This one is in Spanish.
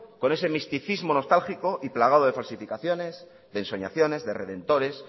con ese misticismo nostálgico y plagado de falsificaciones de ensoñaciones de redentores